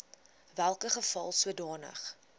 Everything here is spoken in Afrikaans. welke geval sodanige